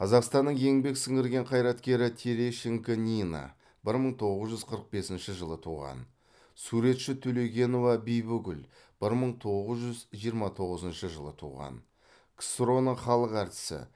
қазақстанның еңбек сіңірген қайраткері терещенко нина бір мың тоғыз жүз қырық бесінші жылы туған суретші төлегенова бибігүл бір мың тоғыз жүз жиырма тоғызыншы жылы туған ксро ның халық әртісі